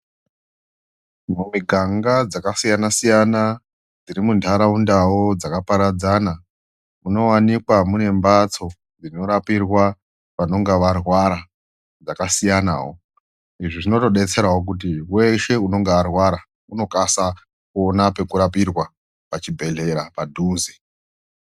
Mumiganga dzakasiyana siyana dziri muntharaundawo dzakaparadzana munowanikwa mune mbatso dzinorapirwa vanonga varwara dzakasiyanawo. Izvi zvinotodetserawo kuti weshe unonga arwara unokasa kuona pekurapiwa pachibhedhera padhuze.